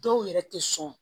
Dɔw yɛrɛ tɛ sɔn